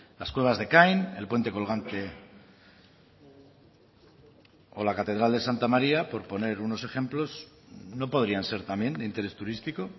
las cuevas de ekain el puente colgante o la catedral de santa maría por poner solo unos ejemplos no podrían ser también de interés turístico